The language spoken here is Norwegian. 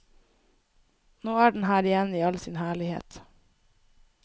Nå er den her igjen i all sin herlighet.